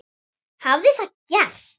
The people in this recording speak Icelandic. Nú hafði það gerst.